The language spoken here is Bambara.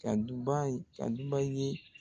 Ka duba ye ka duba i ye.